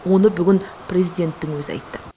оны бүгін президенттің өзі айтты